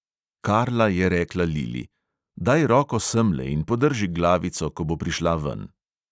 Karla je rekla lili: "daj roko semle in podrži glavico, ko bo prišla ven."